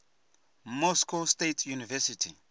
moscow state university